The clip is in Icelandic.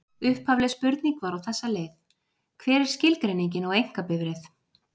Upphafleg spurning var á þessa leið: Hver er skilgreiningin á einkabifreið?